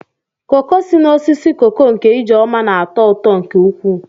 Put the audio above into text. koko si n'osisi koko nke Ijeoma na-atọ ụtọ nke ukwuu.